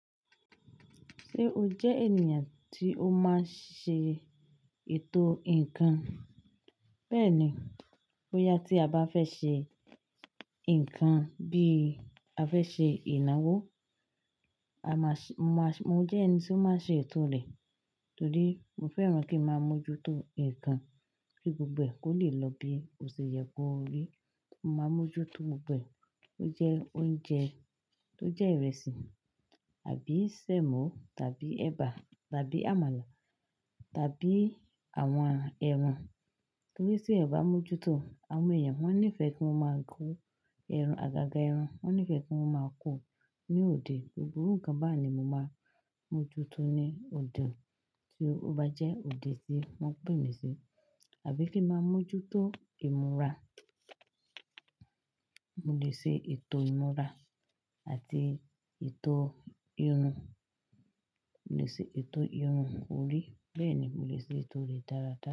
Ṣé o jẹ́ ènìyàn tí ó máa ń ṣe ètò ǹkan? Bẹ́ẹ̀ni, bóyá tí a bá fẹ́ ṣe ǹkan bí a fẹ́ ṣe ìnáwó, a máa ṣ-- mo máa ṣ-- mo jẹ́ ẹni tí ó máa ń ṣe ètò rẹ̀. Torí mo fẹ́ràn kí ń máa mójútó ǹkan kí gbogbo ẹ̀ kó le lọ bí kò ṣe yẹ kó rí. Mo máa mójútó gbogbo ẹ̀. Ó jẹ́ oúnjẹ tí ó jẹ́ ìrẹsì àbí sẹ̀mọ́ tàbí ẹba tàbí àmàlà tàbí àwọn ẹran. Torí sí ẹ̀ bá mójútó, àwọn èèyàn wọ́n nífẹ̀ẹ́ kí wọ́n máa gun ẹran, àgàgà ẹran. Wọ́n nífẹ̀ẹ́ kí wọ́n máa kù ú ní òde. Gbogbo ǹkan bá ni mo máa mójútó ní òde tí ó bá jẹ́ òde tí wọ́n gbẹ̀mí sí. Àbí kí ń máa mójútó ìmúra. Mo lè ṣe ètò ìmúra àti ètò irun. Mo lè ṣe ètò irun orí. Bẹ́ẹ̀ ni mo lè ṣe ètò rẹ̀ dáradára.